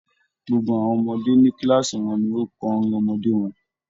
Gbogbo àwọn ọmọdé ní kíláàsì wọn ni ó kọ orin ọmọdé wọn.